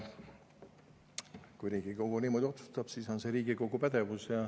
Kui Riigikogu niimoodi otsustab, siis on see Riigikogu pädevus.